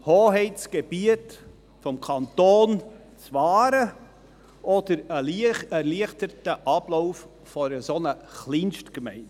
Hoheitsgebiet des Kantons wahren oder ein erleichterter Ablauf in einer solchen Kleinstgemeinde?